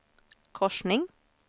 korsning